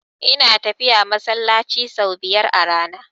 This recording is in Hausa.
Ina tafiya masallaci sau biyar a rana.